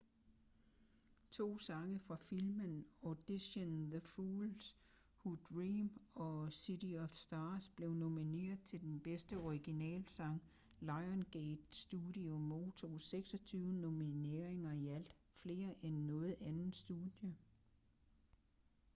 to sange fra filmen audition the fools who dream og city of stars blev nomineret til den bedste originale sang. lionsgate studio modtog 26 nomineringer i alt — flere end noget andet studie